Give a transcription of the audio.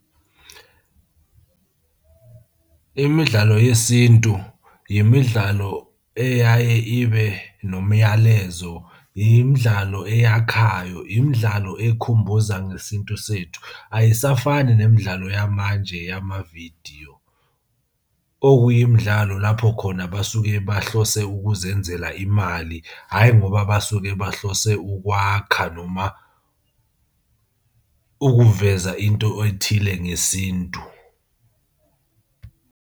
Imidlalo yesintu, imidlalo eyaye ibe nomyalezo, imidlalo eyakhayo, imidlalo ekhumbuza ngesintu sethu. Ayisafani nemidlalo yamanje yamavidiyo. Okuyimidlalo lapho khona basuke bahlose ukuzenzela imali, hhayi ngoba basuke bahlose ukwakha noma ukuveza into ethile ngesintu.